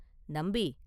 நம்பி!